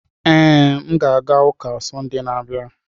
Ee, a ga m aga ụka na Sọnde na-abịa.